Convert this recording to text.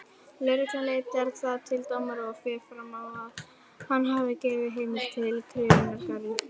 Lögregla leitar þá til dómara og fer fram á að hann gefi heimild til krufningarinnar.